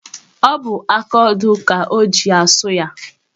Ọ bụ akaodo ka o ji asụ ya.